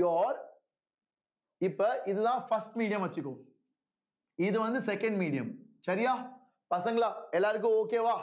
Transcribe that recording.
you are இப்ப இதுதான் first medium வச்சுக்குவோம் இது வந்து second medium சரியா பசங்களா எல்லாருக்கும் okay வா